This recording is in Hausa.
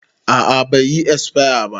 A'a bai yi esfaya ba